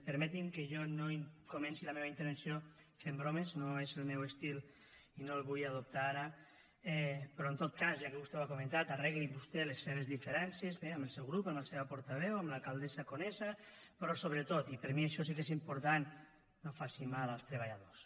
permeti’m que jo no comenci la meva intervenció fent bromes no és el meu estil i no el vull adoptar ara però en tot cas ja que vostè ho ha comentat arreglin vostès les seves diferències bé amb el seu grup amb la seva portaveu amb l’alcaldessa conesa però sobretot i per mi això sí que és important no faci mal als treballadors